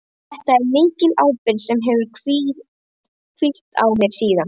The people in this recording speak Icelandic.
Þetta er mikil ábyrgð sem hefur hvílt á mér síðan.